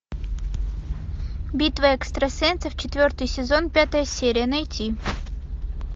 битва экстрасенсов четвертый сезон пятая серия найти